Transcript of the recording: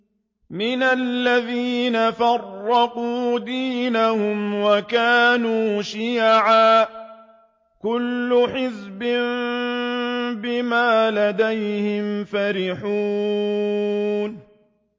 مِنَ الَّذِينَ فَرَّقُوا دِينَهُمْ وَكَانُوا شِيَعًا ۖ كُلُّ حِزْبٍ بِمَا لَدَيْهِمْ فَرِحُونَ